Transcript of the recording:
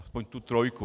Aspoň tu trojku.